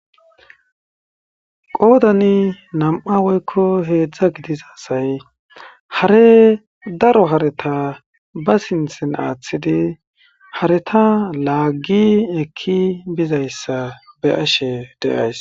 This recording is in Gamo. Qodan nam'a woyko hedzdza gidiza asay hare daro hareta ba sintheni aathidi hareta laagi eki bizaysa beyashe de'aysi